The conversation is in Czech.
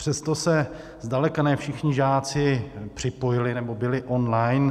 Přesto se zdaleka ne všichni žáci připojili nebo byli online.